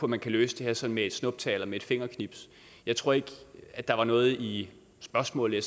man kan løse det her sådan med et snuptag eller med et fingerknips jeg tror ikke der var noget i spørgsmålet